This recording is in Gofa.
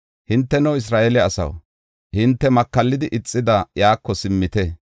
“Hinteno Isra7eele asaw, hinte makallidi ixida, iyako simmite.